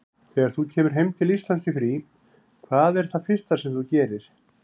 Þegar þú kemur heim til Íslands í frí, hvað er það fyrsta sem þú gerir?